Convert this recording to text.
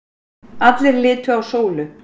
Allir litu á Sólu.